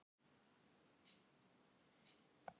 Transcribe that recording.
Hún fór til hans.